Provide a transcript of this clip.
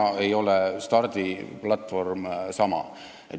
"Täna ei ole stardiplatvorm sama.